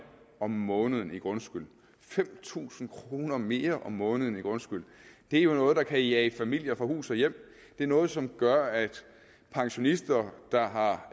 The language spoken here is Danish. om måneden i grundskyld fem tusind kroner mere om måneden i grundskyld er jo noget der kan jage familier fra hus og hjem det er noget som gør at pensionister der har